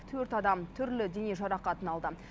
төрт адам түрлі дене жарақатын алды